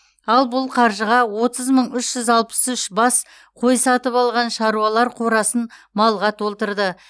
ал бұл қаржыға отыз мың үш жүз алпыс үш бас қой сатып алған шаруалар қорасын малға толтырды